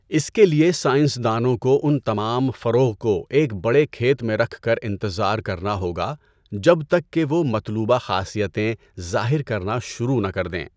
اس کے لیے سائنسدانوں کو اُن تمام فروع کو ایک بڑے کھیت میں رکھ کر انتظار کرنا ہوگا جب تک کہ وہ مطلوبہ خاصیتیں ظاہر کرنا شروع نہ کر دیں۔